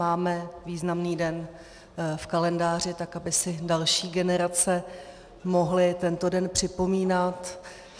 Máme významný den v kalendáři, tak aby si další generace mohly tento den připomínat.